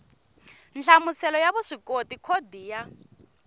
nhlamuselo ya vuswikoti khodi ya